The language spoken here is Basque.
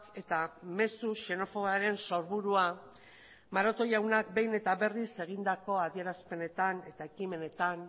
eta mezu xenofoboaren sorburua maroto jaunak behin eta berriz egindako adierazpenetan eta ekimenetan